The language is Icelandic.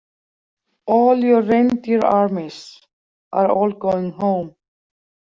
All your reindeer armies, are all going home.